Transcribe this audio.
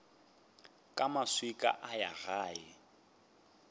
ka maswika a ya gae